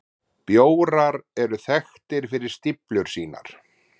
Bjórar eru þekktir fyrir stíflur sínar.